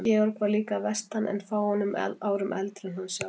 Georg var líka að vestan en fáeinum árum eldri en hann sjálfur.